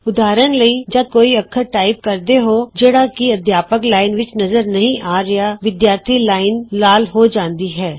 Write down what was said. ਉਦਾਹਰਣ ਵਜੋਂ ਜਦ ਤੁਸੀਂ ਕੋਈ ਅੱਖਰ ਟਾਈਪ ਕਰਦੇ ਹੋ ਜਿਹੜਾ ਕਿ ਅਧਿਆਪਕ ਲਾਈਨ ਵਿਚ ਨਜ਼ਰ ਨਹੀਂ ਆ ਰਿਹਾ ਵਿਦਿਆਰਥੀ ਲਾਈਨ ਲਾਲ ਹੋ ਜਾਂਦੀ ਹੈ